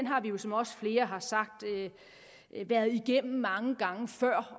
har vi jo som også flere har sagt været igennem det mange gange før